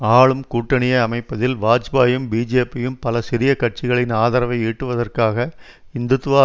ஆளும் கூட்டணிய அமைப்பதில் வாஜ்பாயும் பிஜேபியும் பல சிறிய கட்சிகளின் ஆதரவை ஈட்டுவதற்காக இந்துத்வா